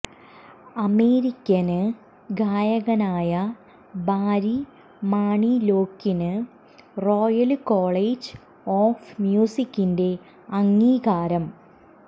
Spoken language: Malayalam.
അമേരിക്കന് ഗായകനായ ബാരി മാണിലോക്കിന് റോയല് കോളേജ് ഓഫ് മ്യൂസിക്കിന്റെ അംഗീകാരം